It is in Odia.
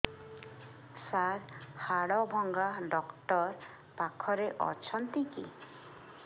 ସାର ହାଡଭଙ୍ଗା ଡକ୍ଟର ପାଖରେ ଅଛନ୍ତି କି